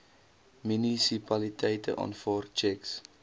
munisipaliteite aanvaar tjeks